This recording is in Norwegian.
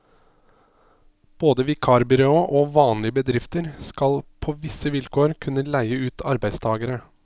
Både vikarbyråer og vanlige bedrifter skal, på visse vilkår, kunne leie ut arbeidstagere.